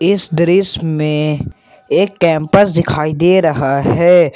इस दृश्य में एक कैंपस दिखाई दे रहा है।